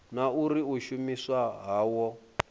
na uri u shumiswa hawo